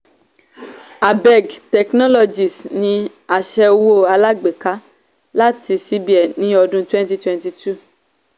abeg technologies ní aṣẹ owó alágbèká láti cbn ní ọdún twenty twenty two